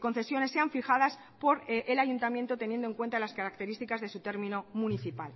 concesiones sean fijadas por el ayuntamiento teniendo en cuenta las características de su término municipal